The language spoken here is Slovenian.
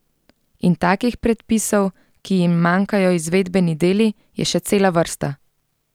In takih predpisov, ki jim manjkajo izvedbeni deli, je še cela vrsta.